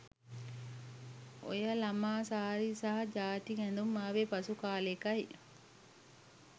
ඔය ළමා සාරි සහ ජාතික ඇඳුම් ආවේ පසු කළෙකයි.